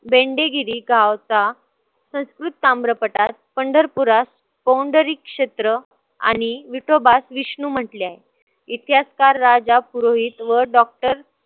बेंडेगिरी गावचा संस्कृत ताम्रपठार पंढरपुरात कोंढरी क्षेत्र आणि विठोबास विष्णु म्हंटले आहे. इतिहासकार राजा पुरोहित व doctor